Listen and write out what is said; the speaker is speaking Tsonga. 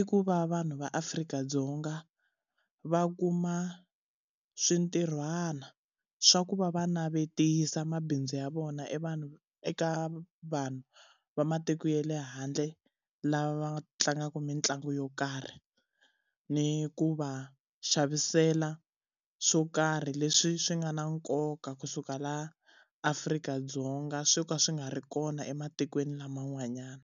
i ku va vanhu va Afrika-Dzonga va kuma swintirhwana swa ku va va navetisa mabindzu ya vona vanhu eka vanhu va matiko ya le handle lava tlangaka mitlangu yo karhi. Ni ku va xavisela swo karhi leswi swi nga na nkoka kusuka la Afrika-Dzonga swo ka swi nga ri kona ematikweni laman'wanyana.